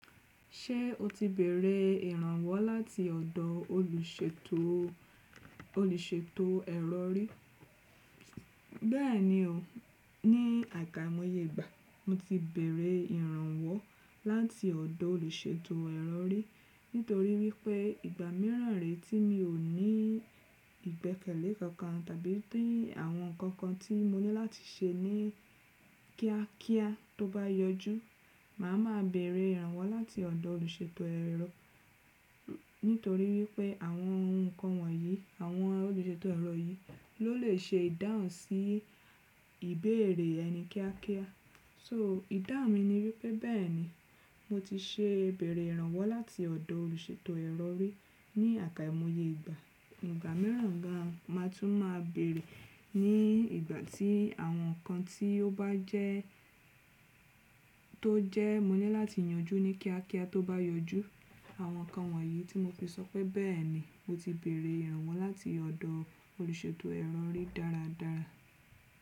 Ṣé o ti bẹ̀rẹ̀ ìrànwọ́ láti ọ̀dọ̀ olùṣètò, olùṣètò ẹ̀rọ rí? Bẹ́ẹ̀ni o, ní àkámọyẹ ìgbà mo ti bẹ̀rẹ̀ ìrànwọ́ láti ọ̀dọ̀ olùṣètò ẹ̀rọ rí. Nítorí wípé ìgbà mìíràn rè tí mi ò ní ìgbẹ́kẹ̀lé kankan tàbí tí àwọn ǹkan kan tí mo ní láti ṣe ní kíákíá tó bá yọjú, màá ma bẹ̀rẹ̀ ìrànwọ́ láti ọ̀dọ̀ olùṣètò ẹ̀rọ. Nítorí wípé àwọn ohun ǹkan wọ̀nyí, àwọn olùṣètò ẹ̀rọ yìí ló lè ṣe ìdáhùn sí ìbéèrè ẹni kíákíá. So ìdáhùn mi ni wípé bẹ́ẹ̀ ni, mo ti ṣe bẹ̀rẹ̀ ìrànwọ́ láti ọ̀dọ̀ olùṣètò ẹ̀rọ rí ní àkámọyẹ ìgbà. Ìgbà mìíràn ga, màá tún máa bẹ̀rẹ̀ ní ìgbà tí àwọn ǹkan tí ó bá jẹ́ tó jẹ́ mo ní láti yanjú ní kíákíá tó bá yọjú. Àwọn ǹkan wọ̀nyí tí mo fi sọ pé bẹ́ẹ̀ ni, mo ti bẹ̀rẹ̀ ìrànwọ́ láti ọ̀dọ̀ olùṣètò ẹ̀rọ rí dáradára.